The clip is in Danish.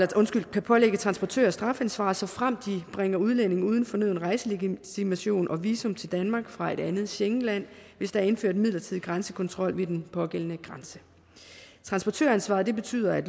kan pålægge transportører strafansvar såfremt de bringer udlændinge uden fornøden rejselegitimation og visum til danmark fra et andet schengenland hvis der er indført midlertidig grænsekontrol ved den pågældende grænse transportøransvaret betyder at